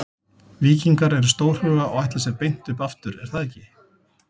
Víkingar eru stórhuga og ætla sér beint upp aftur er það ekki?